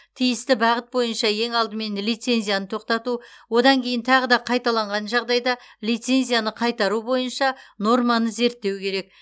тиісті бағыт бойынша ең алдымен лицензияны тоқтату одан кейін тағы да қайталанған жағдайда лицензияны қайтару бойынша норманы зерттеу керек